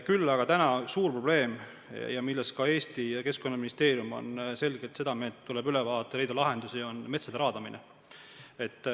Küll aga on meil praegu suur probleem, mille suhtes ka Keskkonnaministeerium on selgelt seda meelt, et see tuleb üle vaadata ja leida lahendusi, nimelt metsade raadamine.